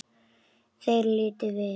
Þeir litu við.